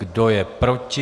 Kdo je proti?